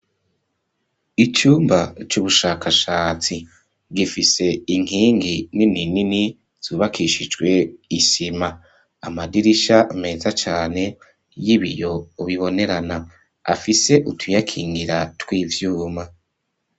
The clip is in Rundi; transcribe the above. Icumba, c'ubushakashatsi; gifise inkingi nini nini, zubakishijwe isima; amadirisha meza cane, y'ibiyo bibonerana, afise utuyakingira tw'ivyuma.